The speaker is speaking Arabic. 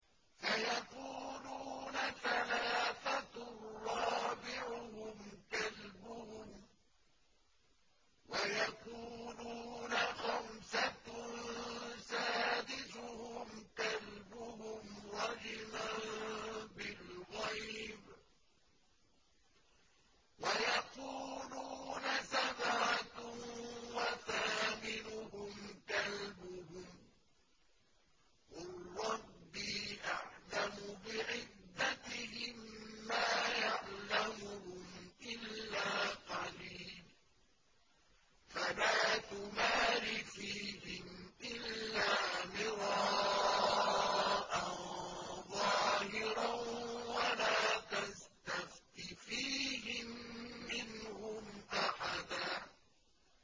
سَيَقُولُونَ ثَلَاثَةٌ رَّابِعُهُمْ كَلْبُهُمْ وَيَقُولُونَ خَمْسَةٌ سَادِسُهُمْ كَلْبُهُمْ رَجْمًا بِالْغَيْبِ ۖ وَيَقُولُونَ سَبْعَةٌ وَثَامِنُهُمْ كَلْبُهُمْ ۚ قُل رَّبِّي أَعْلَمُ بِعِدَّتِهِم مَّا يَعْلَمُهُمْ إِلَّا قَلِيلٌ ۗ فَلَا تُمَارِ فِيهِمْ إِلَّا مِرَاءً ظَاهِرًا وَلَا تَسْتَفْتِ فِيهِم مِّنْهُمْ أَحَدًا